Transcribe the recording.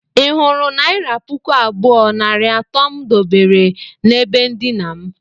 ị hụrụ naira pụkụ abụọ nari ato mụ debere na ebe ndina mụ?